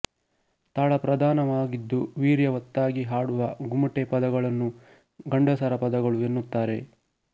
ತಾಳಪ್ರಧಾನವಾಗಿದ್ದು ವೀರ್ಯವತ್ತಾಗಿ ಹಾಡುವ ಗುಮಟೆ ಪದಗಳನ್ನು ಗಂಡಸರ ಪದಗಳು ಎನ್ನುತ್ತಾರೆ